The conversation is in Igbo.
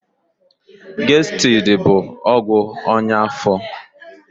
Gestidi bụ ọgwụ ọnya afọ.